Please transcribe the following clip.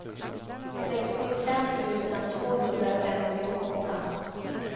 sextiofem tusen tvåhundrafemtioåtta